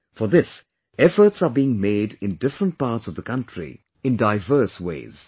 For this, efforts are being made in different parts of the country, in diverse ways